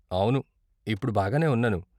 అవును, ఇప్పుడు బాగానే ఉన్నాను.